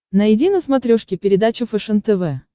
найди на смотрешке передачу фэшен тв